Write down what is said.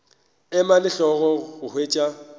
ema le hlogo go hwetša